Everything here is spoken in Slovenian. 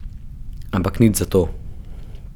Ampak nič zato.